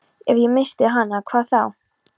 Ef ég missti hana, hvað þá?